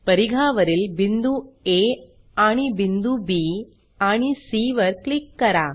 परिघावरील बिंदू आ आणि बिंदू बी आणि सी वर क्लिक करा